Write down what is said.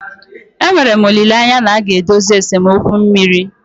Enwere m olileanya na a ga-edozi esemokwu mmiri.